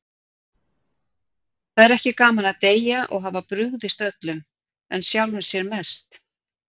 Það er ekki gaman að deyja og hafa brugðist öllum, en sjálfum sér mest.